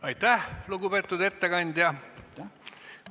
Aitäh, lugupeetud ettekandja!